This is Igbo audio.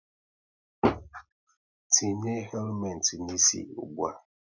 Tinye helumet n'isi ụgbụa!